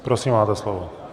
Prosím, máte slovo.